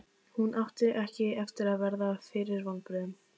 Hún átti ekki eftir að verða fyrir vonbrigðum.